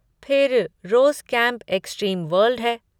फिर rose camp extreme world है।